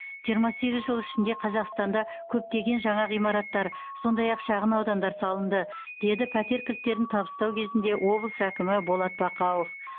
жиырма сегіз жыл ішінде қазақстанда көптеген жаңа ғимараттар сондай ақ шағын аудандар салынды деді пәтер кілттерін табыстау кезінде облыс әкімі болат бақауов